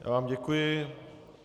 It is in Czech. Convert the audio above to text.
Já vám děkuji.